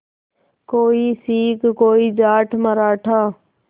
कोई सिख कोई जाट मराठा